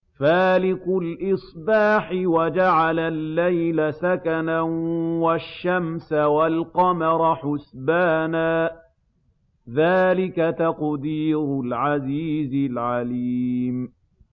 فَالِقُ الْإِصْبَاحِ وَجَعَلَ اللَّيْلَ سَكَنًا وَالشَّمْسَ وَالْقَمَرَ حُسْبَانًا ۚ ذَٰلِكَ تَقْدِيرُ الْعَزِيزِ الْعَلِيمِ